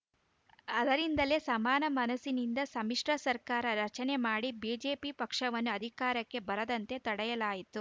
ಆದ್ದರಿಂದಲೇ ಸಮಾನ ಮನಸ್ಸಿನಿಂದ ಸಮ್ಮಿಶ್ರ ಸರ್ಕಾರ ರಚನೆ ಮಾಡಿ ಬಿಜೆಪಿ ಪಕ್ಷವನ್ನು ಅಧಿಕಾರಕ್ಕೆ ಬರದಂತೆ ತಡೆಯಲಾಯಿತು